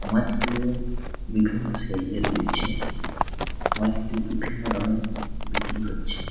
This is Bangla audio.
মাছগুলো বিভিন্ন সাইজের রয়েছে। মাছগুলো বিভিন্ন দামে বিক্রি হচ্ছে।